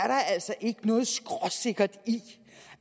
er altså ikke noget skråsikkert i